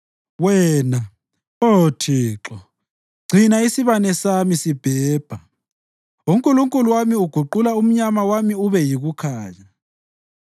Wena, Oh Thixo, gcina isibane sami sibhebha; uNkulunkulu wami uguqula umnyama wami ube yikukhanya.